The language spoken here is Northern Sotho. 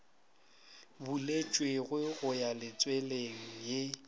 buletšwego go ya letsweleng ye